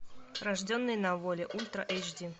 рожденный на воле ультра эйч ди